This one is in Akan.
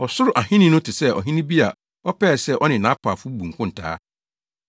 “Ɔsoro Ahenni no te sɛ ɔhene bi a ɔpɛɛ sɛ ɔne nʼapaafo bu nkontaa.